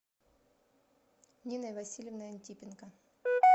ниной васильевной антипенко